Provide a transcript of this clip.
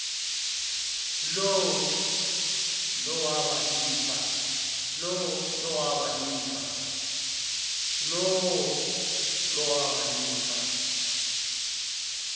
lowo lowaba lifa